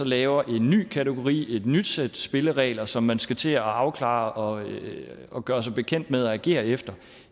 lavet en ny kategori et nyt sæt spilleregler som man skal til at afklare og og gøre sig bekendt med og agere efter